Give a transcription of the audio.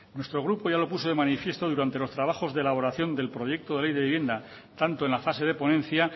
nuestro grupo ya lo puso de manifiesto durante los trabajos de elaboración del proyecto de ley de vivienda tanto en la fase de ponencia